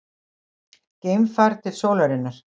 Geimfar til sólarinnar